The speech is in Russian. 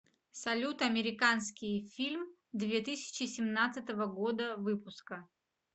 салют американские фильм две тысячи семнадцатого года выпуска